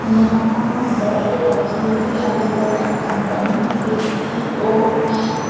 यहाँ बेट रखे है अलग अलग कंपनी के टी_ओ_एन --